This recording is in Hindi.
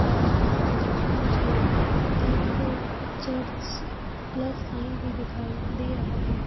और मुझे एक चर्च प्लस शाइन भी दिखाई दे रहा है।